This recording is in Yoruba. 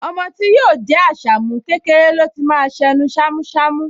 Ọmọ tí yóò jẹ́ Àṣàmú, kékeré ló ti máa ṣ’ẹnu ṣámúṣamú